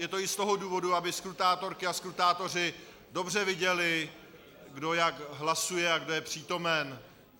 Je to i z toho důvodu, aby skrutátorky a skrutátoři dobře viděli, kdo jak hlasuje a kdo je přítomen.